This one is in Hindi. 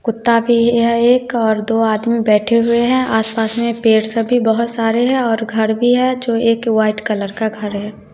कुता भी है एक और दो आदमी बैठे हुए हैं आस पास में पेड़ सभी बहुत सारे है और घर भी है जो एक व्हाइट कलर का घर है।